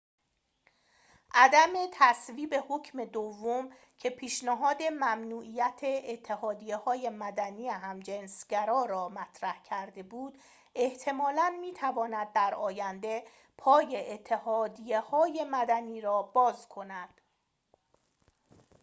عدم تصویب حکم دوم که پیشنهاد ممنوعیت اتحادیه‌های مدنی همجنس‌گرا را مطرح کرده بود احتمالاً می‌تواند در آینده پای اتحادیه‌های مدنی را باز کند